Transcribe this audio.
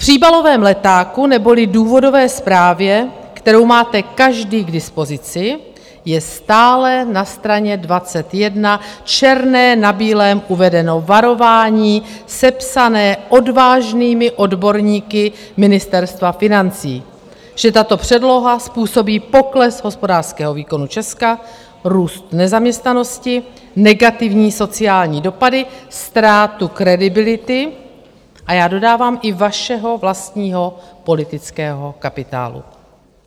V příbalovém letáku, neboli důvodové zprávě, kterou máte každý k dispozici, je stále na straně 21 černé na bílém uvedeno varování sepsané odvážnými odborníky Ministerstva financí: Že tato předloha způsobí pokles hospodářského výkonu Česka, růst nezaměstnanosti, negativní sociální dopady, ztrátu kredibility a já dodávám i vašeho vlastního politického kapitálu.